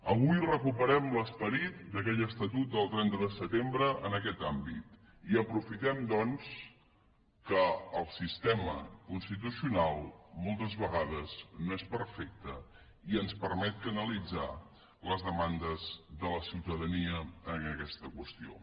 avui recuperem l’esperit d’aquell estatut del trenta de setembre en aquest àmbit i aprofitem doncs que el sistema constitucional moltes vegades no és perfecte i ens permet canalitzar les demandes de la ciutadania en aquesta qüestió